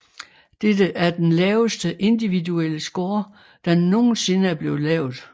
Dette er er den laveste individuelle score der nogensinde er blevet lavet